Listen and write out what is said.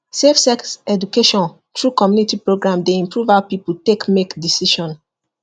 safe sex education through community program dey improve how people take make decision